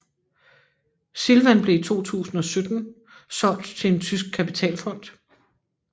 Silvan blev i 2017 solgt til en tysk kapitalfond